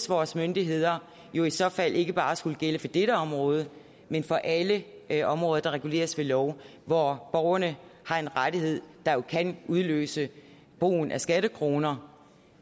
vores myndigheder jo i så fald ikke bare skulle gælde for dette område men for alle alle områder der reguleres ved lov hvor borgerne har en rettighed der kan udløse brugen af skattekroner